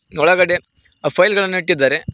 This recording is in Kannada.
ಒಳಗಡೆ ಆ ಫೈಲ್ ಗಳನ್ನು ಇಟ್ಟಿದ್ದಾರೆ.